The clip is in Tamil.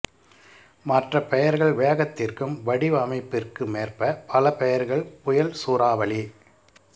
மற்ற பெயா்கள் வேகத்திற்கும் வடிவமைப்பிற்குமேற்ப பல பெயா்கள் புயல் சூறாவளி